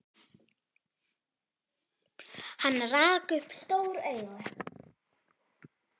Hann rak upp stór augu.